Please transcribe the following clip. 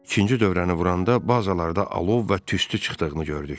İkinci dövrəni vuranda bazalarda alov və tüstü çıxdığını gördük.